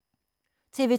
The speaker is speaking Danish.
TV 2